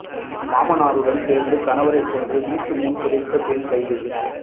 மாமனாருடன் சேர்ந்து கணவரைக் கொன்று வீட்டு முன் புதைத்த பெண் கைது